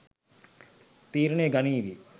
තීරණය ගනීවි